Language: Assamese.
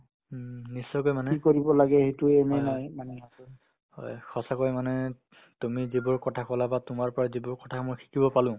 উম, নিশ্চয়কৈ মানে হয় হয় হয় সঁচাকৈ মানে তুমি যিবোৰ কথা ক'লা বা তোমাৰ পৰা মই যিবোৰ কথা শিকিব পালো